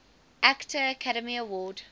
actor academy award